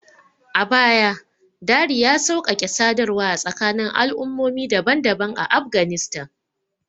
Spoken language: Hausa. A baya, Dari ya sauƙaƙe sadarwa a tsakanin al'ummomi daban-daban a Afghanistan.